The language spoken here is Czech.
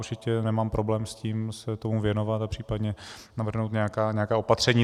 Určitě nemám problém s tím se tomu věnovat a případně navrhnout nějaká opatření.